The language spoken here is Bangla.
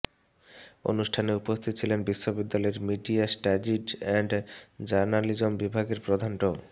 অনুষ্ঠানে উপস্থিত ছিলেন বিশ্ববিদ্যালয়ের মিডিয়া স্টাডিজ এন্ড জার্নালিজম বিভাগের প্রধান ড